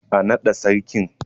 Ã nada sarkin!